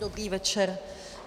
Dobrý večer.